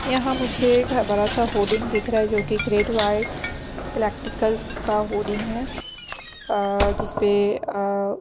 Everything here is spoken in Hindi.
यहाँ मुझे एक ह बड़ा सा होडिंग दिख रहा है जोकि ग्रेट वाइट इलेक्ट्रिकल्स का होडिंग है अ जिसपे अ --